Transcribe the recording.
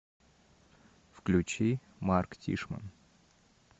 включи марк тишман